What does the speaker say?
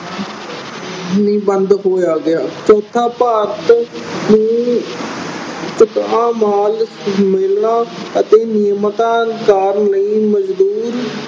ਨਹੀਂ ਬੰਦ ਹੋਇਆ ਗਿਆ। ਚੌਥਾ ਭਾਰਤ ਮਾਲ ਮਿਲਣਾ ਅਤੇ ਨਿਰਯਾਤ ਕਰਨ ਲਈ ਮਜ਼ਦੂਰ